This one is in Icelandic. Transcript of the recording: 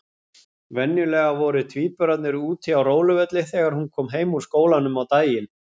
Venjulega voru tvíburarnir úti á róluvelli þegar hún kom heim úr skólanum á daginn.